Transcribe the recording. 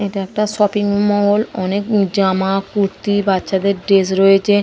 এটা একটা shopping mall. অনেক উ জামা কুর্তি বাচ্ছাদের ড্রেস রয়েছে।